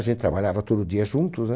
A gente trabalhava todo dia juntos, né?